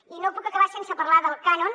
i no puc acabar sense parlar del cànon